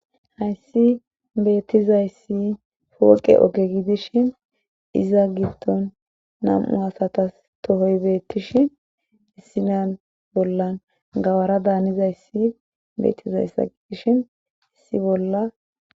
hayssi beettizayssi fooqe oge gidishin iza gibton nam7u asatas tohoy beettishin issinan bollan gawara daanizayssi beettizayssa gidishin issi bolla